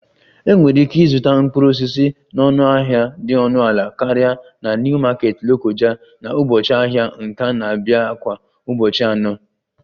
Enwere ike ịzụta mkpụrụ osisi na ọnụahịa dị ọnụ ala karịa na New market lokoja na ụbọchị ahịa nke na-abịa kwa ụbọchị anọ